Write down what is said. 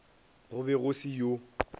go be go se yo